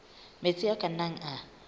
metsi a ka nnang a